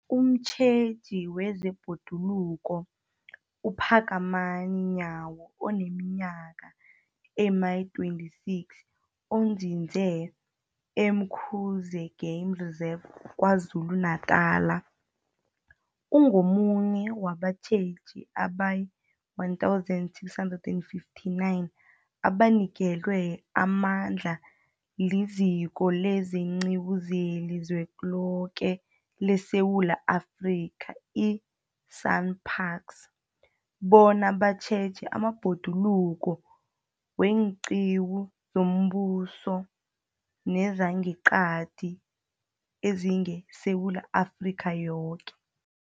Umtjheji wezeBhoduluko uPhakamani Nyawo oneminyaka ema-26, onzinze e-Umkhuze Game Reserve KwaZulu-Natala, ungomunye wabatjheji abayi-1 659 abanikelwe amandla liZiko leenQiwu zeliZweloke leSewula Afrika, i-SANParks, bona batjheje amabhoduluko weenqiwu zombuso nezangeqadi ezingeSewula Afrika yoke.